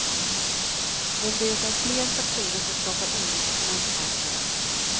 Men det är fler faktorer som skapar oro på finansmarknaden.